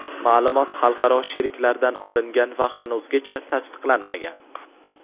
ma’lumot xalqaro sheriklardan olingan va hanuzgacha tasdiqlanmagan.